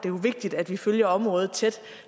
er vigtigt at vi følger området tæt